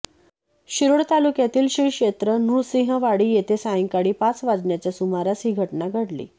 शिरोळ तालुक्यातील श्री क्षेत्र नृसिंहवाडी येथे सायंकाळी पाच वाजण्याच्या सुमारास ही घटना घडली